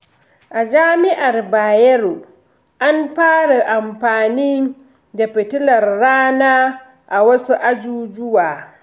A Jami’ar Bayero, an fara amfani da fitilar rana a wasu ajujuwa.